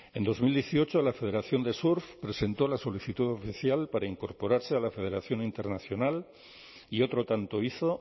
en dos mil dieciocho la federación de surf presentó la solicitud oficial para incorporarse a la federación internacional y otro tanto hizo